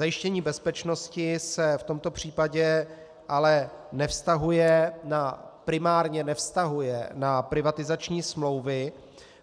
Zajištění bezpečnosti se v tomto případě ale primárně nevztahuje na privatizační smlouvy,